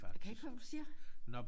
Kan ikke høre hvad du siger